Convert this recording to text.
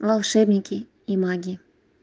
волшебники и маги